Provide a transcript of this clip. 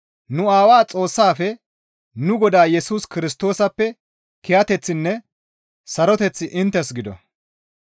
Nu Aawaa Xoossaafe nu Godaa Yesus Kirstoosappe kiyateththinne saroteththi inttes gido.